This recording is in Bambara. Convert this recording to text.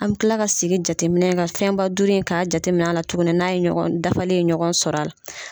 An bɛ kila ka segin jateminɛ kan fɛnba duuru in ka jateminɛ la tugunni n'a ye ɲɔgɔn dafalen ɲɔgɔn sɔrɔ a la.